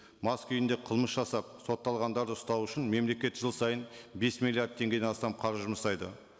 мас күйінде қылмыс жасап сотталғандарды ұстау үшін мемлекет жыл сайын бес миллиард теңгеден астам қаржы жұмсайды